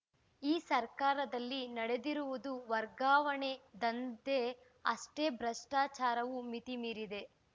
ಈ ಸರ್ಕಾರದಲ್ಲಿ ನಡೆದಿರುವುದು ವರ್ಗಾವಣೆ ದಂಧೆ ಅಷ್ಟೇ ಭ್ರಷ್ಟಾಚಾರವೂ ಮಿತಿಮೀರಿದೆ